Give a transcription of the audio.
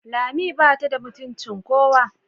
Lami bata da mutuncin kowa.